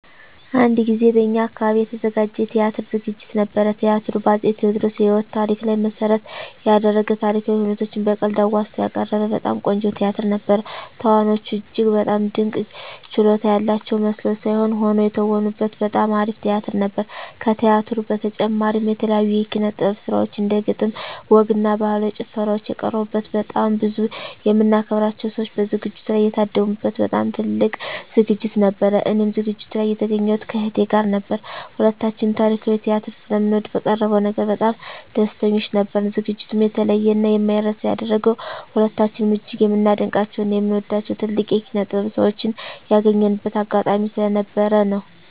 አንድ ጊዜ በእኛ አካባቢ የተዘጋጀ የቲያትር ዝግጅት ነበር። ቲያትሩ በ አፄ ቴዎድሮስ የህይወት ታሪክ ላይ መሰረት የደረገ ታሪካዊ ሁነቶችን በቀልድ አዋዝቶ ያቀረበ በጣም ቆንጆ ቲያትር ነበር። ተዋናዮቹ እጅግ በጣም ድንቅ ችሎታ ያላቸው መስለው ሳይሆን ሆነው የተወኑበት በጣም አሪፍ ቲያትር ነበር። ከቲያትሩ በተጨማሪም የተለያዩ የኪነ - ጥበብ ስራዎች እንደ ግጥም፣ ወግ እና ባህላዊ ጭፈራዎች የቀረቡበት በጣም ብዙ የምናከብራቸው ሰዎች በዝግጅቱ ላይ የታደሙ በት በጣም ትልቅ ዝግጅት ነበር። እኔም ዝግጅቱ ላይ የተገኘሁት ከእህቴ ጋር ነበር። ሁለታችንም ታሪካዊ ቲያትር ስለምንወድ በቀረበው ነገር በጣም ደስተኞች ነበርን። ዝግጅቱንም የተለየ እና የማይረሳ ያደረገው ሁለታችንም እጅግ የምናደንቃቸው እና የምንወዳቸውን ትልልቅ የኪነ -ጥበብ ሰዎችን ያገኘንበት አጋጣሚ ስለነበር ነው።